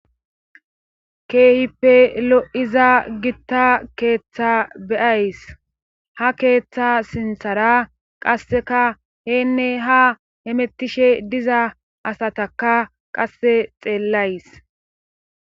Keehippe lo7iza gitta keeththa beyays ha keeththa sinthara qasseka heenne ha hemettishe diza asataka qasse xeellays.